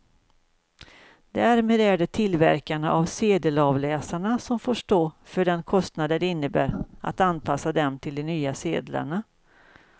Därmed är det tillverkarna av sedelavläsarna som får stå för den kostnad det innebär att anpassa dem till de nya sedlarna.